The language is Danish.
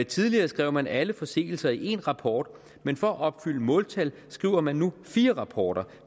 tidligere skrev man alle forseelser i én rapport men for at opfylde måltal skriver man nu fire rapporter